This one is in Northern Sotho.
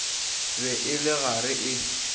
be e le gare e